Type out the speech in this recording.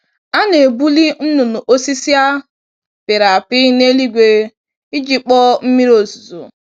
A na-ebuli nnụnụ osisi a pịrị apị n'eluigwe iji kpọọ mmiri ozuzo.